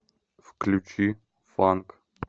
включи фанк